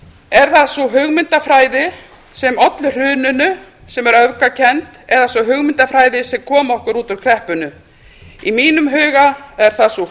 er það sú hugmyndafræði sem olli hruninu sem er öfgakennd eða sú hugmyndafræði sem kom okkur út úr kreppunni í mínum huga er það sú